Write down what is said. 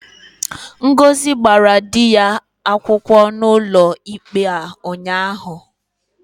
Ngozi gbara di ya akwukwo n'ụlọikpe a ụnyahụ.